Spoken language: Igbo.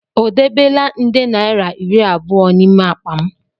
O debela nde naira iri abụọ n'ime akpa m?